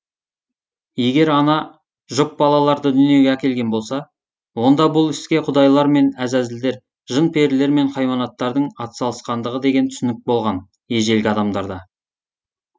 егер ана жұп балаларды дүниеге әкелген болса онда бұл іске құдайлар мен әзәзілдер жын перілер мен хайуанаттардың атсалысқандығы деген түсінік болған ежелгі адамдарда